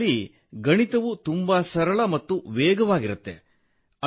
ಇದರಲ್ಲಿ ಗಣಿತವು ತುಂಬಾ ಸರಳ ಮತ್ತು ವೇಗವಾಗಿರುತ್ತದೆ